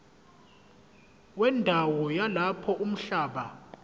wendawo yalapho umhlaba